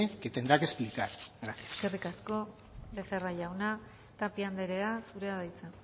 que tendrá que explicar gracias eskerrik asko becerra jauna tapia andrea zurea da hitza